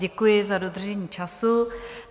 Děkuji za dodržení času.